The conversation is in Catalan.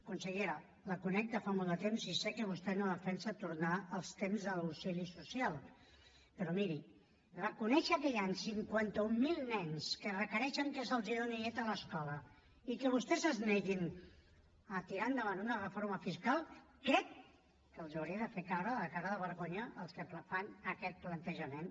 consellera la conec de fa molt de temps i sé que vostè no defensa tornar als temps de l’auxili social però miri reconèixer que hi han cinquanta mil nens que requereixen que se’ls donin llet a l’escola i que vostès es neguin a tirar endavant una reforma fiscal crec que els hauria de fer caure la cara de vergonya als que fan aquest plantejament